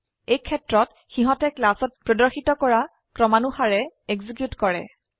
এইক্ষেত্ৰত সিহতে ক্লাসত প্ৰদৰ্শিত কৰা ক্ৰমানুসাৰে এক্সিকিউট কৰে